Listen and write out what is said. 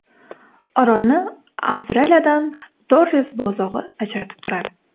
Orolni Avstraliyadan Torres bo‘g‘ozi ajratib turadi.